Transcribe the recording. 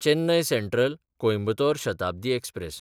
Chennai सँट्रल–कोयंबतोर Shatabdi express